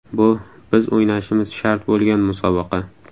Bu biz o‘ynashimiz shart bo‘lgan musobaqa.